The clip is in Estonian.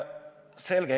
Selge.